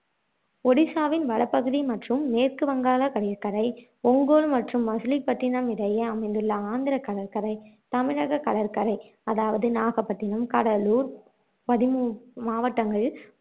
ஒடிசாவின் வட பகுதி மற்றும் மேற்கு வங்காள கடற்கரை ஒங்கோல் மற்றும் மசூலிப்பட்டினம் இடையே அமைந்துள்ள ஆந்திரக் கடற்கரை தமிழக கடற்கரை அதாவது நாகப்பட்டினம், கடலூர் மாவட்டங்களில்